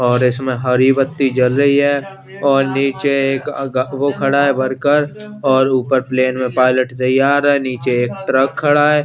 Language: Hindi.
और इसमें हरी बत्ती जल रही है और निच्चे एक अगा वो खड़ा है वर्कर और ऊपर प्लैन में पायलेट तयार है निचे एक ट्रक खड़ा है।